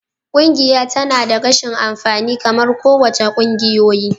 Ƙungiya tana da rashin amfani kamar kowace ƙungiyoyi.